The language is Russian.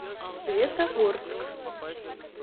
светогорск